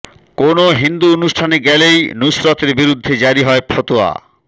কোনও হিন্দু অনুষ্ঠানে গেলেই নুসরতের বিরুদ্ধে জারি হয় ফতোয়া